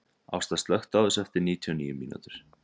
Ásta, slökktu á þessu eftir níutíu og níu mínútur.